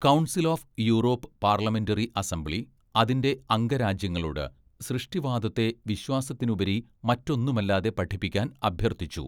Council of Europe parliamentary assembly അതിൻ്റെ അംഗരാജ്യങ്ങളോട് സൃഷ്ടിവാദത്തെ വിശ്വാസത്തിനുപരി മറ്റൊന്നുമല്ലാതെ പഠിപ്പിക്കാൻ അഭ്യർത്ഥിച്ചു.